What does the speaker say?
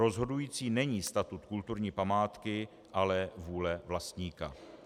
Rozhodující není statut kulturní památky, ale vůle vlastníka.